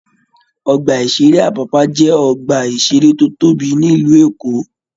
Ọgbà-ìṣeré Apapa jẹ ọgbà-iṣere tó tóbi nílu Èkó.